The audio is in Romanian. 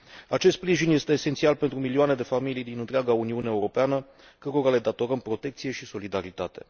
Acest sprijin este esențial pentru milioane de familii din întreaga Uniune Europeană, cărora le datorăm protecție și solidaritate.